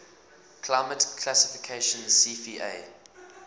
climate classification cfa